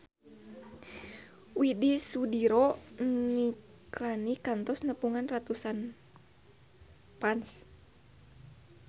Widy Soediro Nichlany kantos nepungan ratusan fans